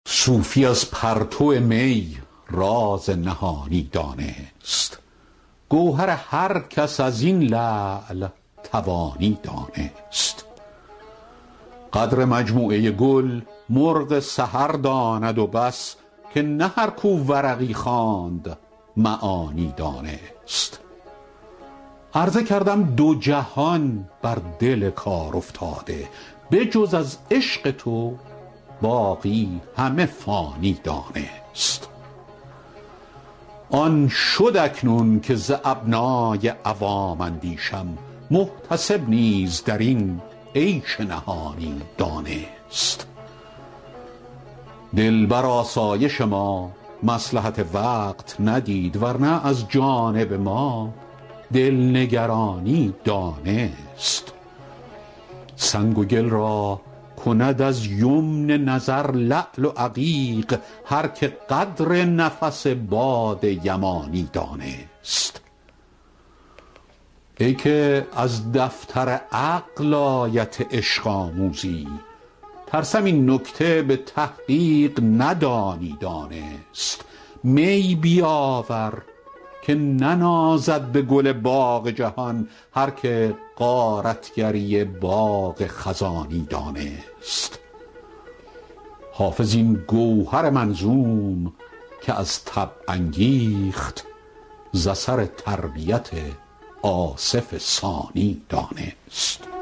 صوفی از پرتو می راز نهانی دانست گوهر هر کس از این لعل توانی دانست قدر مجموعه گل مرغ سحر داند و بس که نه هر کو ورقی خواند معانی دانست عرضه کردم دو جهان بر دل کارافتاده به جز از عشق تو باقی همه فانی دانست آن شد اکنون که ز ابنای عوام اندیشم محتسب نیز در این عیش نهانی دانست دل بر آسایش ما مصلحت وقت ندید ور نه از جانب ما دل نگرانی دانست سنگ و گل را کند از یمن نظر لعل و عقیق هر که قدر نفس باد یمانی دانست ای که از دفتر عقل آیت عشق آموزی ترسم این نکته به تحقیق ندانی دانست می بیاور که ننازد به گل باغ جهان هر که غارت گری باد خزانی دانست حافظ این گوهر منظوم که از طبع انگیخت ز اثر تربیت آصف ثانی دانست